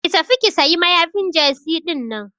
Ki tafi ki sayi mayafin jesi dinnan.